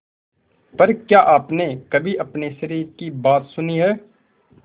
पर क्या आपने कभी अपने शरीर की बात सुनी है